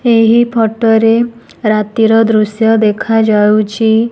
ଏହି ଫଟୋ ରେ ରାତିର ଦୃଶ୍ୟ ଦେଖାଯାଉଛି।